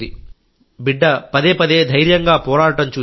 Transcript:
బిడ్డ పదేపదే ధైర్యంగా పోరాడడం చూశాం